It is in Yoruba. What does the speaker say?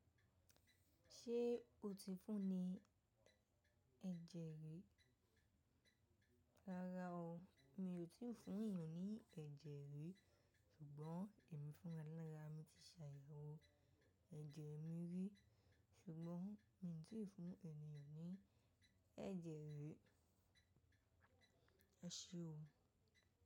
Ṣé o ti fún ni ẹ̀jẹ̀ rí? Rárá o, mi ò tí fún ẹ̀nìyàn ní ẹ̀jẹ̀ rí. Sùgbọ́n èmi fúnra lara mi tí ṣàyàwó ẹ̀jẹ̀ mi rí. Sùgbọ́n mi ò tí fún ẹ̀nìyàn ní ẹ̀jẹ̀ rí. Ẹṣẹ o.